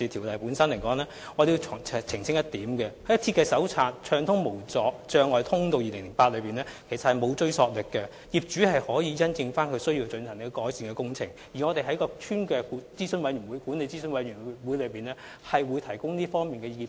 我想澄清一點，《設計手冊：暢通無阻的通道2008》並沒有追溯力，業主可以因應需要進行改善工程，而我們會在屋邨管理諮詢委員會上向法團提供這方面的意見。